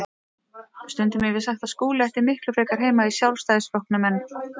Stundum hef ég sagt að Skúli ætti miklu frekar heima í Sjálfstæðisflokknum en